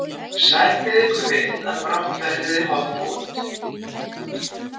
Sættið ykkur við að brátt verðið þið holdvot.